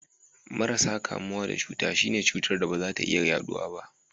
Marasa kamuwa da cuta, shi ne cutar da ba za ta iya yaduwa ba.